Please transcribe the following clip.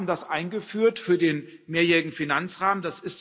Wir haben das eingeführt für den mehrjährigen Finanzrahmen.